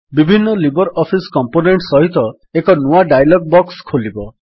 ବିଭିନ୍ନ LibreOffice component ସହିତ ଏକ ନୂଆ ଡାୟଲଗ୍ ବକ୍ସ ଖୋଲିବ